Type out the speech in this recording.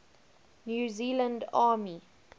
new zealand army